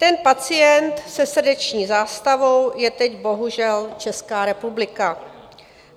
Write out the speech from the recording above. Ten pacient se srdeční zástavou je teď bohužel Česká republika.